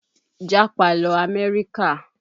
Jápa lọ Amerika!